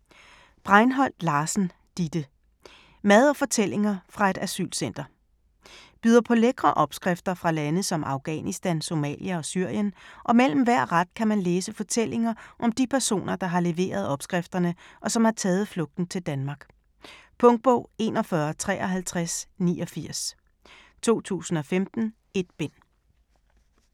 Breinholt Larsen, Didde: Mad og fortællinger fra et asylcenter Byder på lækre opskrifter fra lande som Afghanistan, Somalia og Syrien, og mellem hver ret kan man læse fortællinger om de personer, der har leveret opskrifterne, og som har taget flugten til Danmark. Punktbog 415389 2015. 1 bind.